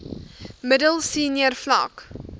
middel senior vlak